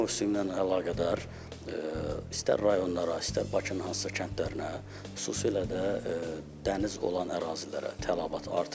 Yay mövsümü ilə əlaqədar istər rayonlara, istər Bakının hansısa kəndlərinə, xüsusilə də dəniz olan ərazilərə tələbat artır.